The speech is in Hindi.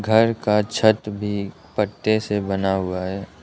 घर का छत भी पत्ते से बना हुआ है।